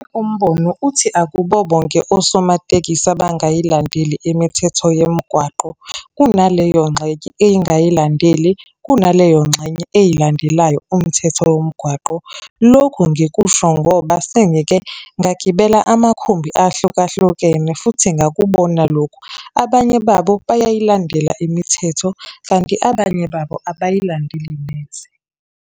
Umbono uthi akubo bonke osomatekisi abangayilandeli imithetho yemigwaqo. Kunaleyo ngxenye engayilandeli, kunaleyo ngxenye eyilandelayo umthetho womgwaqo. Lokhu ngikusho ngoba sengike ngagibela amakhumbi ahlukahlukene futhi ngakubona lokhu. Abanye babo, bayayilandela imithetho, kanti abanye babo, abayilandeli neze.